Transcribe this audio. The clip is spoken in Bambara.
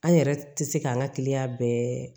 An yɛrɛ tɛ se k'an ka kiliyan bɛɛ